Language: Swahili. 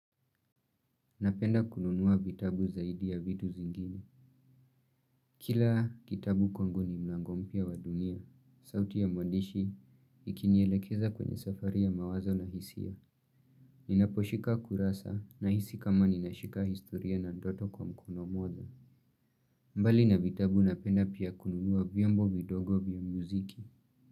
Napenda kununua vitabu zaidi ya vitu zingine. Kila kitabu kwangu ni mlango mpya wa dunia, sauti ya mwandishi, ikinielekeza kwenye safari ya mawazo na hisia. Ninaposhika kurasa na hisi kama ninashika historia na ndoto kwa mkono moja. Mbali na vitabu napenda pia kununua vyombo vidogo vya muziki.